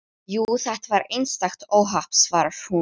Jú, þetta var einstakt óhapp, svarar hún.